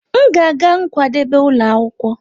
M ga-aga nkwadebe ụlọ akwụkwọ.